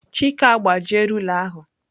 Chike agbajie rula ahu.